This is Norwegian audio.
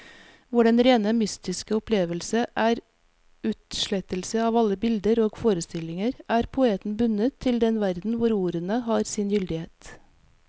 Hvor den rene mystiske opplevelse er utslettelse av alle bilder og forestillinger, er poeten bundet til den verden hvor ordene har sin gyldighet.